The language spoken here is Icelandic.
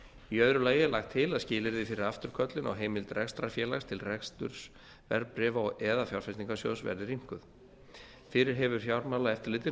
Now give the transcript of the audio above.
í öðru lagi er lagt til að skilyrði fyrir afturköllun á heimild rekstrarfélags til reksturs verðbréfa eða fjárfestingarsjóðs verði rýmkuð fyrir hefur fjármálaeftirlitið